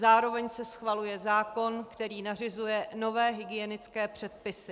Zároveň se schvaluje zákon, který nařizuje nové hygienické předpisy.